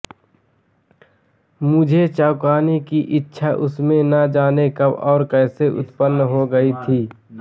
मुझे चौंकाने की इच्छा उसमें न जाने कब और कैसे उत्पन्न हो गयी थी